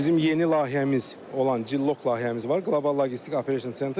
Bizim yeni layihəmiz olan Cilloq layihəmiz var, Qlobal Logistik Operation Center.